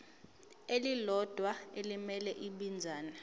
elilodwa elimele ibinzana